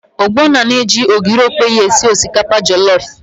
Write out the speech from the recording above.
Ogbonna na-eji ogiri okpei esi osikapa jọlọf.